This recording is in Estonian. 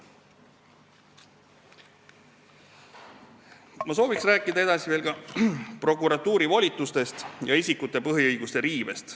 Ma sooviks rääkida veel prokuratuuri volitustest ja isikute põhiõiguste riivest.